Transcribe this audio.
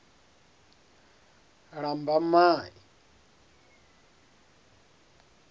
lambamai